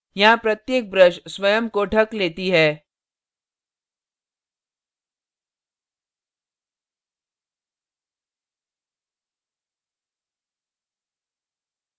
यहाँ प्रत्येक brush स्वयं को ढक लेती है